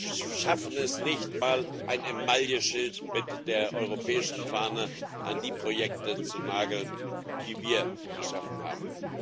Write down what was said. Und wir schaffen es nicht einmal, ein Emailleschild mit der europäischen Fahne an die Projekte zu nageln, die wir geschaffen haben.